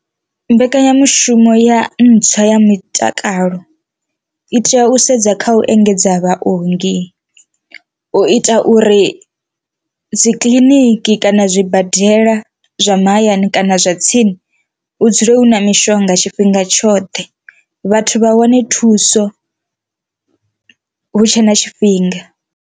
Mbekanyamushumo ya ntswa ya mutakalo i tea u sedza kha u engedza vhaongi u ita uri dzi kiḽiniki kana na zwibadela zwa mahayani kana zwa tsini hu dzule hu na mishonga tshifhinga tshoṱhe, vhathu vha wane thuso hu tshe na tshifhinga.